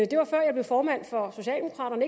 det var før jeg blev formand for socialdemokraterne